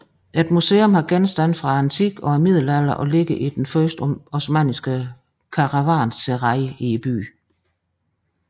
Et museum har genstande fra antikken og middelalderen og ligger i den første osmanniske karavanserai i byen